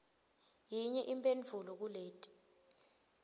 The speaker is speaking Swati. yinye imphendvulo kuleti